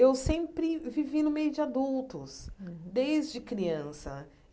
Eu sempre vivi no meio de adultos, desde criança.